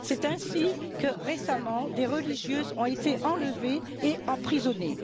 C'est ainsi que, récemment, des religieuses ont été enlevées et emprisonnées.